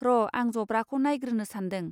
र' आं जब्राखौ नायग्रोनो सान्दों.